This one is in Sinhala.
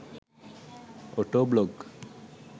auto blog